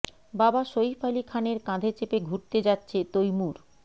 বাবা সইফ আলি খানের কাধে চেপে ঘুরতে যাচ্ছে তৈমুর